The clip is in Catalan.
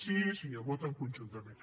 sí senyor voten conjuntament